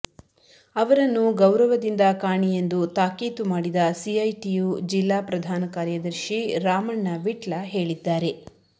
ಅವರನ್ನು ಗೌರವದಿಂದ ಕಾಣಿ ಎಂದು ತಾಕೀತು ಮಾಡಿದ ಸಿಐಟಿಯು ಜಿಲ್ಲಾ ಪ್ರಧಾನ ಕಾರ್ಯದರ್ಶಿ ರಾಮಣ್ಣ ವಿಟ್ಲ ಹೇಳಿದ್ದಾರೆ